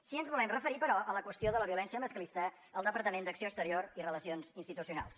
sí que ens volem referir però a la qüestió de la violència masclista al departament d’acció exterior i relacions institucionals